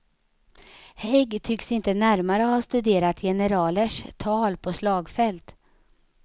Hägg tycks inte närmare ha studerat generalers tal på slagfält.